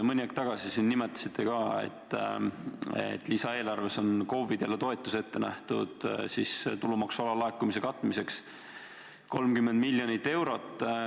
Mõni aeg tagasi nimetasite siin, et lisaeelarves on KOV-idele ette nähtud toetus tulumaksu alalaekumise katmiseks 30 miljonit eurot.